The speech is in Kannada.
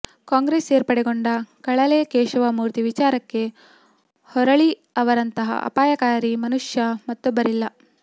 ಕಾಂಗ್ರೆಸ್ ಸೇರ್ಪಡೆಗೊಂಡ ಕಳಲೆ ಕೇಶವಮೂರ್ತಿ ವಿಚಾರಕ್ಕೆ ಹೊರಳಿ ಅವರಂತಹ ಅಪಾಯಕಾರಿ ಮನುಷ್ಯ ಮತ್ತೊಬ್ಬರಿಲ್ಲ